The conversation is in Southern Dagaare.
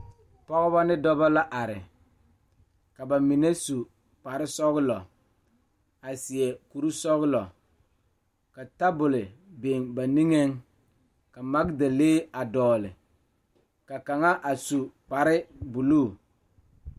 Pɔgeba kaa pɔge nyoŋ dɔɔ nu ka katawiɛ Kyaara ka dɔɔ a su dagakparo ka pɔge a gyere wagye a le kodo kaa dɔɔba a gyere wagyere.